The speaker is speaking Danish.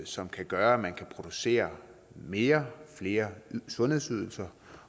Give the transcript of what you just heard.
som kan gøre at man kan producere mere flere sundhedsydelser